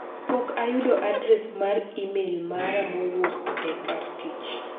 Pok ayudo adres mar imel mara mowuok e kar tich.